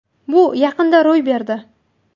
Bu yaqinda ro‘y berdi.